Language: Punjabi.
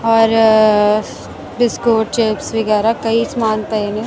ਔਰ ਬਿਸਕੁੱਟ ਚਿੱਪਸ ਵਗੈਰਾ ਕਈ ਸਮਾਨ ਪਏ ਨੇ।